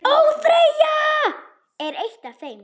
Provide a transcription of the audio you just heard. ÓÞREYJA er eitt af þeim.